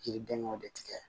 Yiridenw de tigɛ